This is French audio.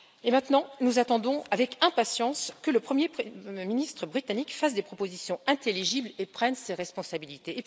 Maintenant, nous attendons avec impatience que le premier ministre britannique fasse des propositions intelligibles et prenne ses responsabilités.